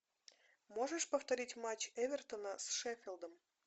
можешь повторить матч эвертона с шеффилдом